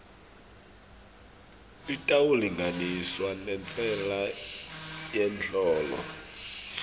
itawulinganiswa nentsela yemholo